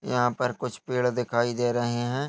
यहां पर कुछ पेड़ दिखायी दे रहे हैं।